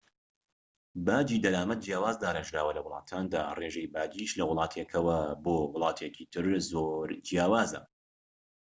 باجی دەرامەت جیاواز داڕێژراوە لە ولاتاندا، ڕێژەی باجیش لە وڵاتێکەوە بۆ وڵاتێکی تر زۆر جیاوازە